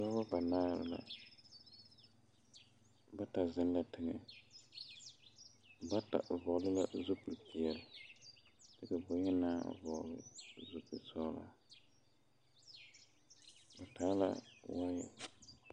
Dɔbɔ banaare la bata zeŋ la teŋɛ bata vɔgle la zupili peɛle kyɛ ka bonyenaa vɔgle zupili sɔglɔ ba pɛgle la wɔɔya.